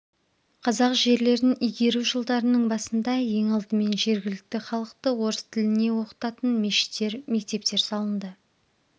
қазақ жерлерін игеру жылдарының басында ең алдымен жергілікті халықты орыс тіліне оқытатын мешіттер мектептер салынды